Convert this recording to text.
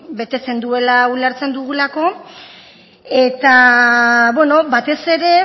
betetzen duela ulertzen dugulako eta batez ere